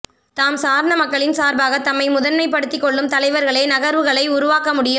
தாம் சார்ந்த மக்களின் சார்பாக தம்மை முதன்மைப் படுத்தி கொள்ளும் தலைவர்களே நகர்வுகளை உருவாக்க முடியும்